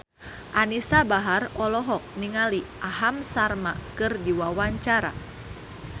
Anisa Bahar olohok ningali Aham Sharma keur diwawancara